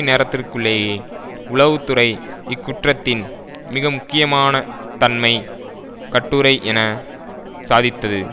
நேரத்திற்குள்ளேயே உளவு துறை இக்குற்றத்தின் மிகமுக்கியமான தன்மை கட்டுரை என சாதித்தது